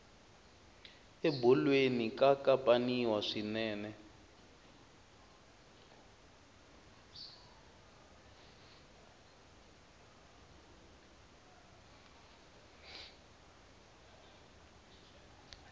ebolweni ka kapaniwa swinene